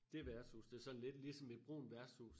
Dét værtshus det sådan lidt ligesom et brunt værtshus